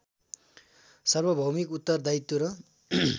सार्वभौमिक उत्तरदायित्व र